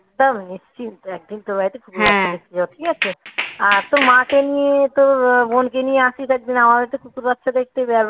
একদম নিশ্চিন্তে একদিন তোর বাড়িতে লাগবে একদমই ঠিক আছে আর তো মাকে নিয়ে তো বোনকে নিয়ে আসি তার জন্য আমারও তো কুকুর বাচ্চা দেখতে